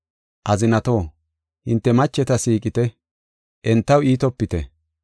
Azinatoo, hinte macheta siiqite; entaw iitopite.